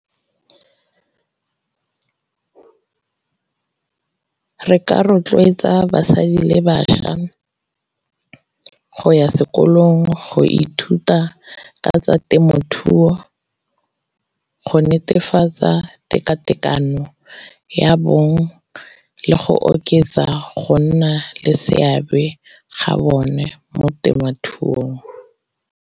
Re ka rotloetsa basadi le bašwa go ya sekolong go ithuta ka tsa temothuo go netefatsa tekatekano ya bong, le go oketsa go nna le seabe ga bone mo temothuong.